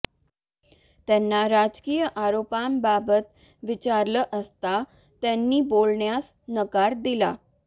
त्यांना राजकीय आरोपांबाबत विचारलं असता त्यांनी बोलण्यास नकार दिला